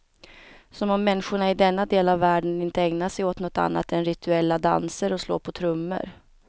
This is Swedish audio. Som om människorna i denna del av världen inte ägnar sig åt något annat än rituella danser och slå på trummor.